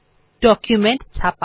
document ছাপা